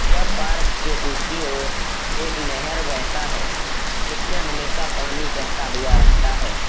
यह पार्क के दूसरी ओर एक नेहेर बेहता है जिसमें हमेशा पानी बेहता हुआ रहता है।